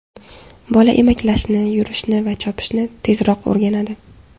Bola emaklashni, yurishni va chopishni tezroq o‘rganadi.